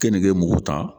Kenige mugu ta